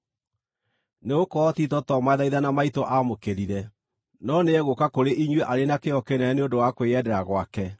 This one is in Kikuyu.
Nĩgũkorwo Tito to mathaithana maitũ aamũkĩrire, no nĩegũũka kũrĩ inyuĩ arĩ na kĩyo kĩnene nĩ ũndũ wa kwĩyendera gwake.